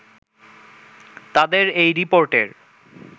তাদের এই রিপোর্টের